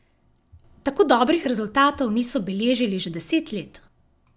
Tako dobrih rezultatov niso beležili že deset let.